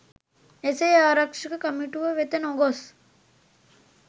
එසේ ආරක්‍ෂක කමිටුව වෙත නොගොස්